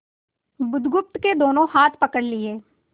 बुधगुप्त के दोनों हाथ पकड़ लिए